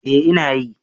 Eh ina yi